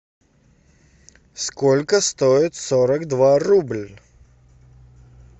сколько стоит сорок два рубль